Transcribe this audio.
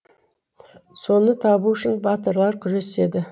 соны табу үшін батырлар күреседі